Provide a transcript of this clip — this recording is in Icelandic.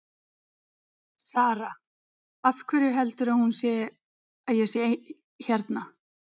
Sara: Af hverju heldur hún að ég sé hérna?